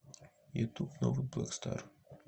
ютуб новый блэк стар